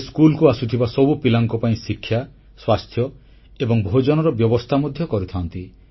ସେ ସ୍କୁଲକୁ ଆସୁଥିବା ସବୁ ପିଲାଙ୍କ ପାଇଁ ଶିକ୍ଷା ସ୍ୱାସ୍ଥ୍ୟ ଏବଂ ଭୋଜନର ବ୍ୟବସ୍ଥା ମଧ୍ୟ କରିଥାନ୍ତି